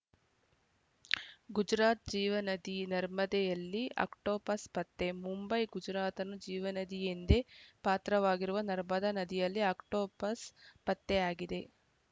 ಗುಜರಾತ್‌ ಜೀವನದಿ ನರ್ಮದೆಯಲ್ಲಿ ಆಕ್ಟೋಪಸ್‌ ಪತ್ತೆ ಮುಂಬೈ ಗುಜರಾತ್‌ ಜೀವನದಿ ಎಂದೇ ಪಾತ್ರವಾಗಿರುವ ನರ್ಮದಾ ನದಿಯಲ್ಲಿ ಆಕ್ಟೋಪಸ್‌ ಪತ್ತೆಯಾಗಿದೆ